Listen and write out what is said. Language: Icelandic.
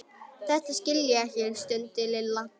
Þetta skil ég ekki stundi Lilla.